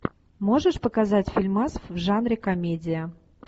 можешь показать фильмас в жанре комедия